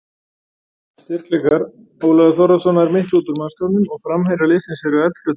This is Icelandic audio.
Styrkleikar: Ólafur Þórðarson nær miklu út úr mannskapnum og framherjar liðsins eru eldfljótir.